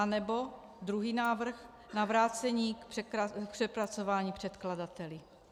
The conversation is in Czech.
Anebo druhý návrh, na vrácení k přepracování předkladateli.